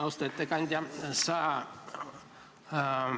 Austatud ettekandja!